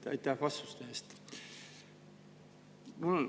Kõigepealt aitäh vastuste eest!